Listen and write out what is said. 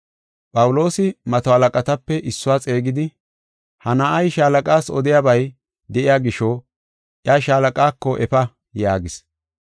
Phawuloosi mato halaqatape issuwa xeegidi, “Ha na7ay shaalaqas odiyabay de7iya gisho iya shaalaqaako efa” yaagis.